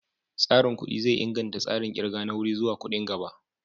Tsarin kuɗi zai inganta tsarin ƙirga na wuri zuwa kuɗin gaba.